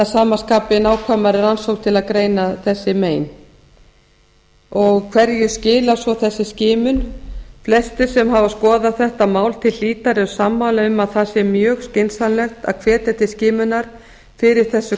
að sama skapi nákvæmari rannsókn til að greina þessi mein hverju skilar svo þessi skimun flestir sem hafa skoðað þetta mál til hlítar eru sammála um að það sé mjög skynsamlegt að hvetja til skimunar fyrir þessu